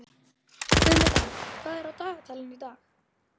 Guðmunda, hvað er á dagatalinu í dag?